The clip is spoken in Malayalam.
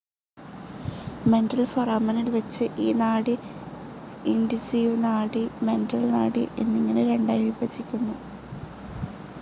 മെന്റൽ ഫൊറാമനിൽ വച്ച് ഈ നാഡി ഇൻസൈസിവ്‌ നാഡി, മെന്റൽ നാഡി എന്നിങ്ങനെ രണ്ടായി വിഭജിക്കുന്നു.